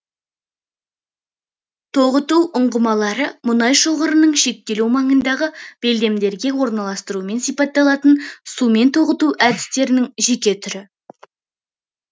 тоғыту ұңғымалары мұнай шоғырының шектелу маңындағы белдемдерге орналастыруымен сипатталатын сумен тоғыту әдістерінің жеке түрі